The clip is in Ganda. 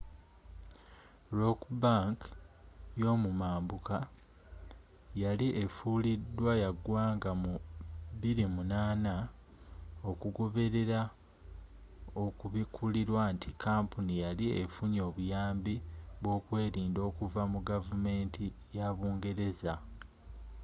rock bank y'omumambuka yali efulidwa ya ggwanga mu 2008 okugoberera okubikulirwa nti kampuni yali efunye obuyambi bw'okwerinda okuva mu gavumenti yabungereza